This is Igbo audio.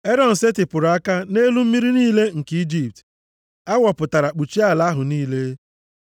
Erọn setịpụrụ aka nʼelu mmiri niile nke Ijipt, awọ pụtara kpuchie ala ahụ niile.